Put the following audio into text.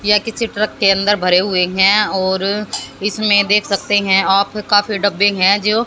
यह किसी ट्रक के अंदर भरे हुए है और इसमें देख सकते है आफ काफी डब्बे है जो--